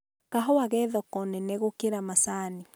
kahũa ge thoko nene gũkĩra macanĩ.